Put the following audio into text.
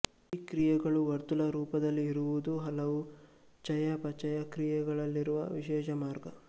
ಈ ಕ್ರಿಯೆಗಳು ವರ್ತುಲ ರೂಪದಲ್ಲಿ ಇರುವುದು ಹಲವು ಚಯಾಪಚಯ ಕ್ರಿಯೆಗಳಲ್ಲಿರುವ ವಿಶೇಷ ಮಾರ್ಗ